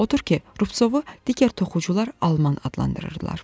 Odur ki, Ruvtsovu digər toxucular alman adlandırırdılar.